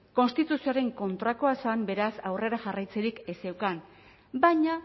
konstituzioaren kontrakoa zen beraz aurrera jarraitzerik ez zeukan baina